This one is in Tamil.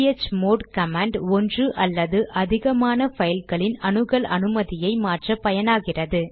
சிஹெச்மோட் கமாண்ட் ஒன்று அல்லது அதிகமான பைல்களின் அணுகல் அனுமதியை மாற்ற பயனாகிறது